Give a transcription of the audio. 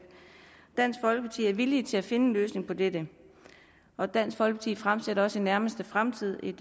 dansk folkeparti er villig til at finde en løsning på dette og dansk folkeparti fremsætter også i nærmeste fremtid et